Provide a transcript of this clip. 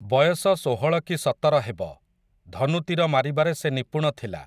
ବୟସ ଷୋହଳ କି ସତର ହେବ, ଧନୁତୀର ମାରିବାରେ ସେ ନିପୁଣ ଥିଲା ।